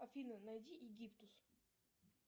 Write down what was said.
афина найди египтус